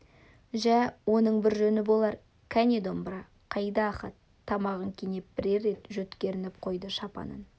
жә оның бір жөні болар кәне домбыра қайда ахат тамағын кенеп бірер рет жөткірініп қойды шапанын